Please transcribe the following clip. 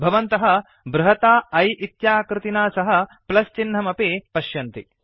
भवन्तः बृहता I इत्याकृतिना सह प्लस् चिन्हमपि पश्यन्ति